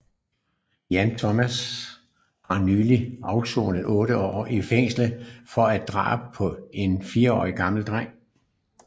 Jan Thomas har nylig afsonet otte år i fængsel for et drab på en 4 år gammel dreng